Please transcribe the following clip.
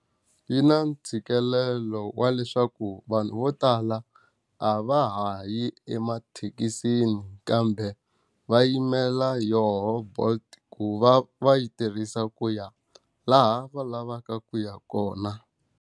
Yi na ntshikelelo wa leswaku vanhu vo tala a va ha yi emathekisini kambe, va yimela yoho Bolt ku va va yi tirhisa ku ya laha va lavaka ku ya kona.